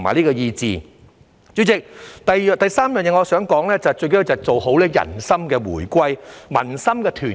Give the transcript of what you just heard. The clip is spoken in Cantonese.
代理主席，我想說的第三個融合就是做好人心回歸、民心團結。